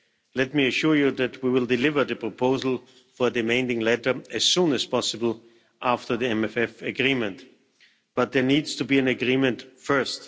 Let me assure you that we will deliver the proposal for the amending letter as soon as possible after the MFF agreement, but there needs to be an agreement first.